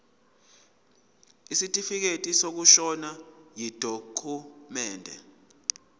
isitifikedi sokushona yidokhumende